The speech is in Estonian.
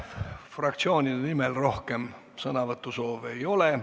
Fraktsioonide nimel rohkem sõnavõtusoove ei ole.